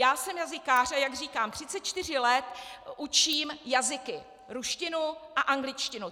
Já jsem jazykář a jak říkám, 34 let učím jazyky, ruštinu a angličtinu.